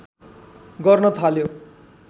गर्न थाल्यो